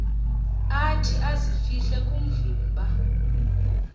athi azifihle kovimba